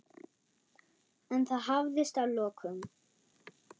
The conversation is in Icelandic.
En það hafðist að lokum.